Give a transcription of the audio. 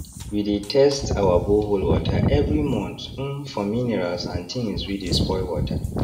we dey test our borehole water every month um for minerals and things wey dey spoil water